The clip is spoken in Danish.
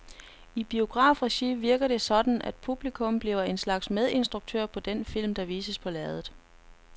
I biografregi virker det sådan, at publikum bliver en slags medinstruktører på den film, der vises på lærredet.